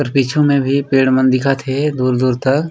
आऊ पीछू म भी पेड़ मन दिखत हे दूर-दूर तक--